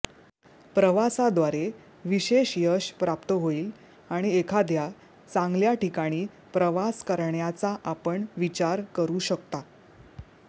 प्रवासाद्वारे विशेष यश प्राप्त होईल आणि एखाद्या चांगल्या ठिकाणी प्रवास करण्याचा आपण विचार करू शकता